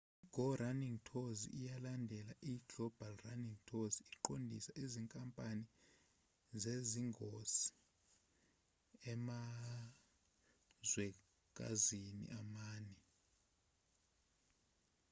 i-go running tours eyalandela i-global running tours iqondisa izinkampani zezingosi emazwekazini amane